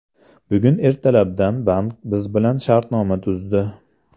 Bugun ertalabdan bank biz bilan shartnoma tuzdi.